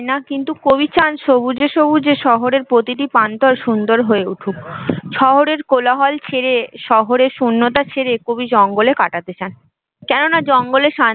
কিন্তু কবি চান সবুজে সবুজে শহরের প্রতিটা প্রান্তর সুন্দর হয়ে উঠুক শহরের কোলাহল ছেড়ে শহরের শুন্যতা ছেড়ে কবি জঙ্গলে কাটাতে চান, কেননা জঙ্গলে